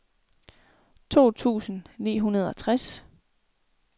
to tusind ni hundrede og tres